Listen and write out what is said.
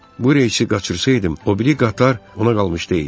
Bu reysi qaçırsaydım, o biri qatar ona qalmış deyildi.